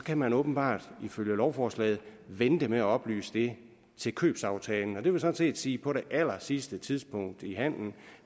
kan man åbenbart ifølge lovforslaget vente med at oplyse det til købsaftalen og det vil sådan set sige på det allersidste tidspunkt i handelen